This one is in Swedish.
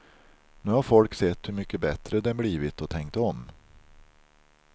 Nu har folk sett hur mycket bättre det blivit och tänkt om.